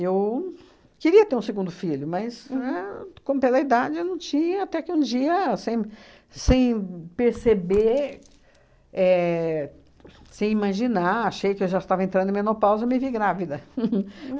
Eu queria ter um segundo filho, mas, éh como pela idade, eu não tinha, até que um dia, sem sem perceber, éh sem imaginar, achei que eu já estava entrando em menopausa e me vi grávida.